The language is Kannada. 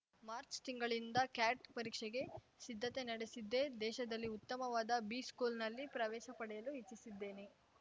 ಮಾರ್ಚ್ ತಿಂಗಳಿನಿಂದ ಕ್ಯಾಟ್‌ ಪರೀಕ್ಷೆಗೆ ಸಿದ್ಧತೆ ನಡೆಸಿದ್ದೆ ದೇಶದಲ್ಲಿ ಉತ್ತಮವಾದ ಬಿಸ್ಕೂಲ್‌ನಲ್ಲಿ ಪ್ರವೇಶ ಪಡೆಯಲು ಇಚ್ಛಿಸಿದ್ದೇನೆ